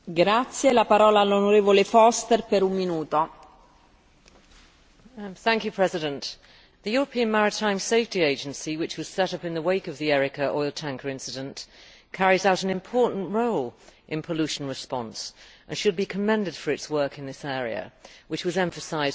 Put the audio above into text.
Madam President, the European Maritime Safety Agency, which was set up in the wake of the Erika oil tanker incident, carries out an important role in pollution response and should be commended for its work in this area, which was emphasised by my good colleague, Peter Van Dalen.